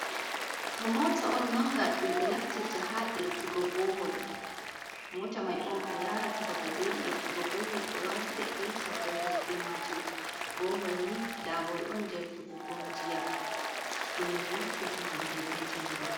Ha mota on manga dum be naftirta ha irtugo bohol mota mai on be yarata babal bedi irtugo bohol be wata be irta bohol be majum, bohol ni labawol on jer hebugo jiyam dum min naftirta hande be jongo.